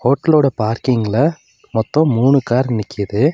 ஹோட்டலோட பார்க்கிங்ல மொத்தொ மூணு கார் நிக்குது.